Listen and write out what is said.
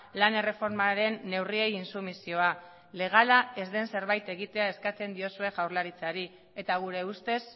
lan erreformaren neurriei intsumisioa legala ez den zerbait egitea eskatzen diozue jaurlaritzari eta gure ustez